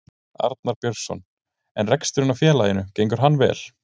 Arnar Björnsson: En reksturinn á félaginu gengur hann vel?